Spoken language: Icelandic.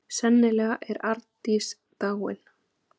Sennilega er Arndís dáin.